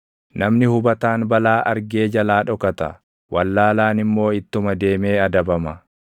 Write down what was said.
Namni hubataan balaa argee jalaa dhokata; wallaalaan immoo ittuma deemee adabama.